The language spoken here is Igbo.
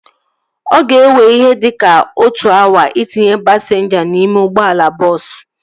Ọ ga-ewe ihe dịka otu awa itinye pasinja n'ime ụgbọala bọọsu